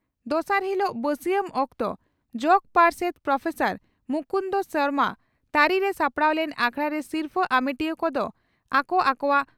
ᱫᱚᱥᱟᱨ ᱦᱤᱞᱚᱜ ᱵᱟᱹᱥᱤᱭᱟᱹᱢ ᱚᱠᱛᱚ ᱡᱚᱜᱚ ᱯᱟᱨᱥᱮᱛ ᱯᱨᱚᱯᱷᱮᱥᱚᱨ ᱢᱩᱠᱩᱱᱫᱚ ᱥᱚᱨᱢᱟ ᱛᱟᱹᱨᱤᱨᱮ ᱥᱟᱯᱲᱟᱣ ᱞᱮᱱ ᱟᱠᱷᱲᱟ ᱨᱮ ᱥᱤᱨᱯᱷᱟᱹ ᱟᱢᱮᱴᱤᱭᱟᱹ ᱠᱚᱫᱚ ᱟᱠᱚ ᱟᱠᱚᱣᱟᱜ